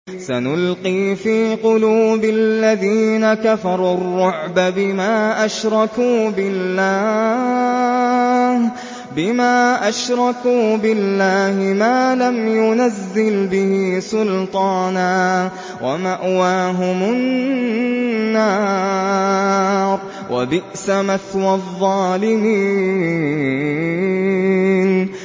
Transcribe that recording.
سَنُلْقِي فِي قُلُوبِ الَّذِينَ كَفَرُوا الرُّعْبَ بِمَا أَشْرَكُوا بِاللَّهِ مَا لَمْ يُنَزِّلْ بِهِ سُلْطَانًا ۖ وَمَأْوَاهُمُ النَّارُ ۚ وَبِئْسَ مَثْوَى الظَّالِمِينَ